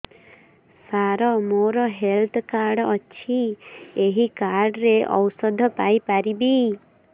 ସାର ମୋର health card ଅଛି ଏହି କାର୍ଡ ରେ ଔଷଧ ପାଇପାରିବି